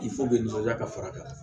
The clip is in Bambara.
bɛ nɔnɔ ja ka fara ka na